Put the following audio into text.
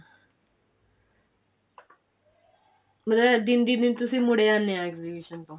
ਮਤਲਬ ਦਿਨ ਦੀ ਦਿਨ ਮੁੜ ਆਉਂਦੇ ਹੈ exhibition ਤੋਂ